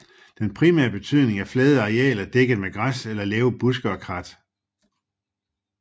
Den primære betydning er flade arealer dækket med græs eller lave buske og krat